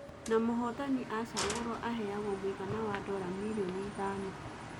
Na mũhotani acagũrwo aheagwo mũigana wa dora mirioni ithano